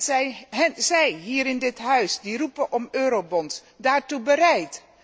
Zijn zij hier in dit huis die roepen om eurobonds daartoe bereid?